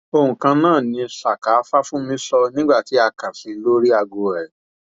ohun kan náà ni saka fàfúnmi sọ nígbà tá a kàn sí i lórí aago rẹ